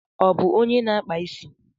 Ọ bu ónyé ná akpà ịsị?